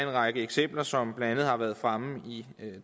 række eksempler som blandt andet har været fremme i